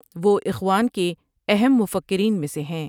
وہ اخوان کے کے اہم مفکریں میں سے ہیں ۔